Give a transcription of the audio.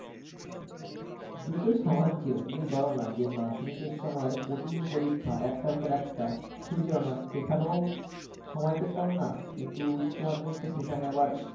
দুটোই সমান ছিল তুমি পারোনা যে মাধ্যমিকের সময় প্রতিদিন পরীক্ষায় একটার পর একটা ছুটি ছিল না সেখানেও সময় পেতাম না কিন্তু উচ্চমাধ্যমিকে সেখানে আবার,